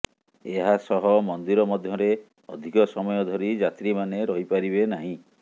ଏହାସହ ମନ୍ଦିର ମଧ୍ଯରେ ଅଧିକ ସମୟ ଧରି ଯାତ୍ରୀମାନେ ରହିପାରିବେ ନାହିଁ